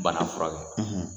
bana furakɛ.